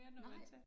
Nej